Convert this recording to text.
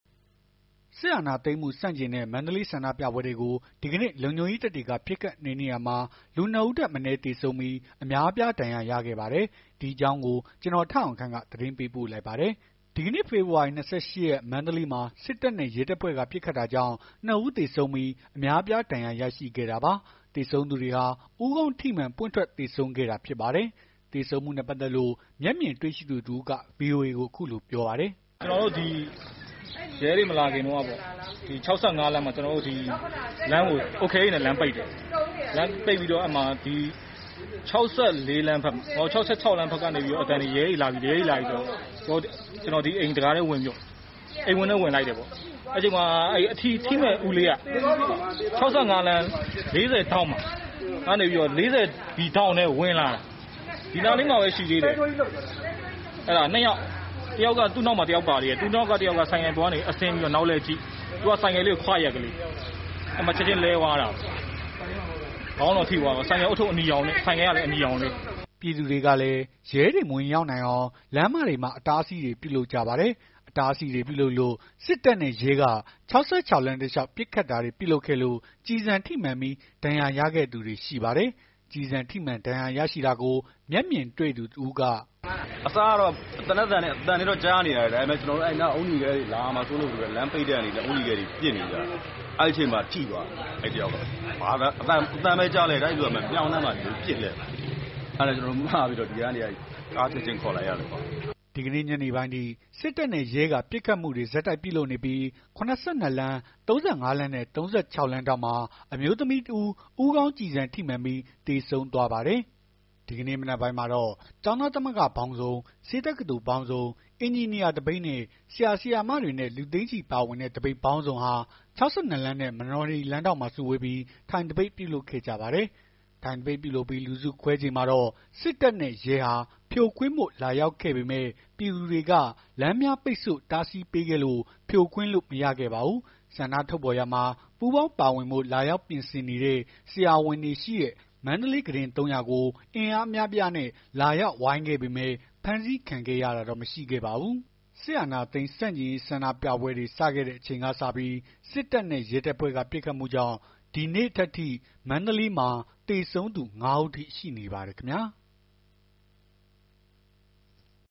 စစ်အာဏာသိမ်းမှုဆန့်ကျင်တဲ့မန္တလေးဆန္ဒပြပွဲတွေကို ဒီကနေ့ လုံခြုံရေးတပ်တွေက ပစ်ခတ်နှိမ်နင်းရာမှာ လူ ၂ ဦးထက်မနည်းသေဆုံးပြီး အများအပြား ဒဏ်ရာရခဲ့ပါတယ်။ ဒီအကြောင်း ဗွီအိုအေသတင်းထောက် ကိုထက်အောင်ခန့်က မန္တလေးမြို့ကနေ သတင်းပေးပို့ထားပါတယ်။ ဒီကနေ့ ဖော်ဖော်ဝါရီ ၂၈ ရက် မန္တလေးမှာ စစ်တပ်နဲ့ရဲတပ်ဖွဲ့က ပစ်ခတ်တာကြောင့် ၂ ဦးသေဆုံးပြီး အများအပြားဒဏ်ရာရရှိခဲ့တာပါ။ သေဆုံးသူတွေဟာ ဦးခေါင်းထိမှန်ပွင့်ထွက်သေဆုံးခဲ့တာဖြစ်ပါတယ်။ သေဆုံးမှုနဲ့ပတ်သက်လို့ မျက်မြင်တွေ့ရှိသူတဦးက ဗွီအိုအေကို အခုလိုပြောပါတယ်။ “ကျနော်တို့ ဒီရဲတွေမလာခင် ၆၅ လမ်းမှာ အုတ်ခဲတွေနဲ့ လမ်းပိတ်တယ်။ လမ်းပိတ်တဲ့အချိန်မှာ ၆၆ လမ်းဘက်က ရဲတွေလာပြီဆိုတော့ ကျနော်အိမ်တံခါးထဲ အိမ်ဝင်းထဲဝင်လိုက်တယ်ပေါ့။ အဲ့အချိန်မှာ ထိမယ့်ဦးလေးက ၆၅ လမ်း ၄၀ ဒီထောင့်ထဲကို ဝင်လာတာ။ အဲ့ဒါ ၂ ယောက် သူ့နောက်မှာ တယောက်ပါသေးတယ်။ သူ့အနောက်ကလူကဆိုင်ကယ်ပေါ်ကအဆင်း နောက်လှည့်အကြည့် သူက ဆိုင်ကယ်လေးကို ခွရက်လေး အဲ့မှာ ချက်ချင်းလဲသွားတာ။ ခေါင်းကိုထိသွားတာ ဆိုင်ကယ်ဦးထုပ် အနီရောင်လေး” ပြည်သူတွေကလည်း ရဲတွေ မဝင်ရောက်နိုင်အောင် လမ်းမတွေမှာ အတားအဆီးတွေ ပြုလုပ်ကြပါတယ်။ အတားအဆီးတွေ ပြုလုပ်လို့ စစ်တပ်နဲ့ရဲဟာ ၆၆ လမ်း တလျောက် ပစ်ခတ်တာတွေပြုလုပ်ခဲ့လို့ ကျည်ဆံထိမှန်ပြီး ဒဏ်ရာရခဲ့သူတွေရှိပါတယ်။ ကျည်ဆံထိမှန် ဒဏ်ရာရရှိတာကို မျက်မြင်တွေ့သူတဦးက အခုလို ပြောပါတယ်။ “အစကတော့ သေနတ်သံတွေတော့ ကြားနေရတယ်။ ဒါပေမယ့် လာမှာစိုးလို့ လမ်းပိတ်တဲ့အနေနဲ့ အုတ်နီခဲတွေနဲ့ ပစ်နေကြတာ။ အဲ့အချိန်မှာ ထိသွားတာ။ အဲ့တယောက်က အသံပဲကြားလိုက်ရတယ်။ အဲ့လူက မြောင်းထဲမှာ ပစ်လဲနေတယ်။ အဲ့ကနေ ကားချက်ချင်းခေါ်လိုက်ရတယ်။” ဒီကနေ့ညနေပိုင်းထိ စစ်တပ်နဲ့ရဲက ဆက်တိုက်ပစ်ခတ်နေပြီး ၇၂ လမ်း၊ ၃၅ လမ်းနဲ့ ၃၆ လမ်းထောင့်မှာ အမျိုးသမီးတဦး ဦးခေါင်းကျည်ဆံထိမှန်ပြီး သေဆုံးသွားပါတယ်။ ဒီကနေ့မနက်ပိုင်းမှာတော့ ကျောင်းသားသမဂ္ဂပေါင်းစုံ ဆေးတက္ကသိုလ်ပေါင်းစုံ အင်ဂျင်နီယာသပိတ်နဲ့ ဆရာဆရာမတွေနဲ့ လူသိန်းချီပါဝင်တဲ့ သပိတ်ပေါင်းစုံဟာ ၆၂ လမ်းနဲ့ မနော်ဟရီလမ်းထောင့်မှာ စုဝေးပြီး ထိုင်သပိတ် ပြုလုပ်ခဲ့ကြပါတယ်။ ထိုင်သပိတ်ပြုလုပ်ပြီး လူစုခွဲချိန်မှာတော့ စစ်တပ်နဲ့ရဲဟာ ဖြိုခွင်းဖို့လာရောက်ခဲ့ပေမယ့် ပြည်သူတွေက လမ်းများကို ပိတ်ဆို့တားဆီးပေးခဲ့လို့ ဖြိုခွင်းလို့မရခဲ့ပါဘူး။ ဆန္ဒထုတ်ဖော်ရာမှာပူးပေါင်းပါဝင်ဖို့ လာရောက်ပြင်ဆင်နေတဲ့ ဆရာဝန်တွေရှိရာ မန္တလေး ကုတင် ၃၀၀ ဆေးရုံကို အင်အားအများအပြားနဲ့ လာရောက် ဝိုင်းခဲ့ပေမယ့် ဖမ်းဆီးခံခဲ့ရတာတော့ မရှိခဲ့ပါဘူး။ စစ်အာဏာသိမ်းဆန့်ကျင်ရေး ဆန္ဒပြပွဲတွေစခဲ့တဲ့အချိန်ကစပြီး စစ်တပ်နဲ့ရဲတပ်ဖွဲ့က ပစ်ခတ်မှုကြောင့် ဒီနေ့ထက်အထိ မန္တလေးမှာ သေဆုံးသူ ၅ ဦးအထိ ရှိနေပါတယ်ခင်ဗျာ။